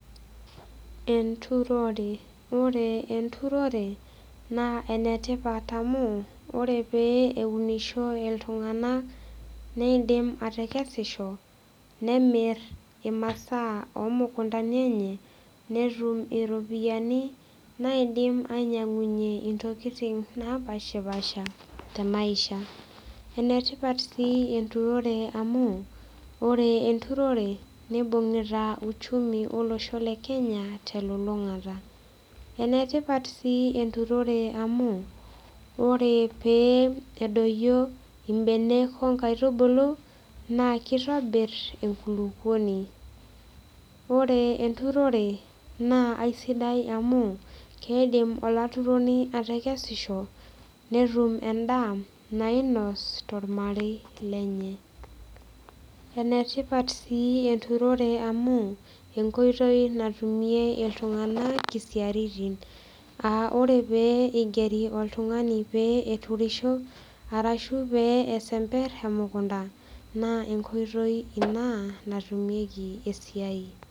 Enturore ore enturore naa enetipat amu ore pee eunisho iltung'anak neidim atekesisho nemirr imasaa omukuntani enye netum iropiyiani naidim ainyiang'unyie intokiting napashipasha te maisha enetipat sii enturore amu ore enturore nibungita uchumi olosho le kenya telulung'ata enetipat sii enturore amu ore pee edoyio imbenek onkaitubulu naa kitobirr enkulukuoni ore enturore naa aisidai amu keidim olaturoni atekesisho netum endaa nainos tormarei lenye enetipat sii enturore amu enkoitoi natumie iltung'anak isiaritin aa ore pee igeri oltung'ani pee eturisho arashu pee esemperr emukunta naa enkoitoi ina natumieki esiai.